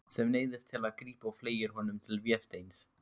Sem neyðist til að grípa og fleygir honum til Vésteins.